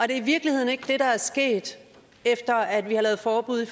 det i virkeligheden ikke det der er sket efter at vi har lavet forbud